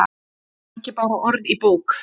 Ekki bara orð í bók.